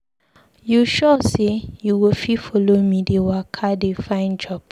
You sure sey you go fit follow me dey waka dey find job?